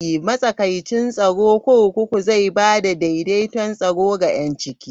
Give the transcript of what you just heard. Matsakaicin tsaro kurkuku zai ba da daidaito tsaro da 'yanci.